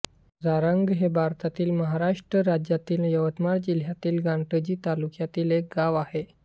जारंग हे भारतातील महाराष्ट्र राज्यातील यवतमाळ जिल्ह्यातील घाटंजी तालुक्यातील एक गाव आहे